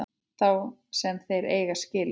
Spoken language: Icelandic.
Þá sem þeir eiga skilið.